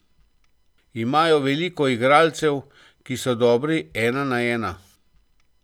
Imajo veliko igralcev, ki so dobri ena na ena.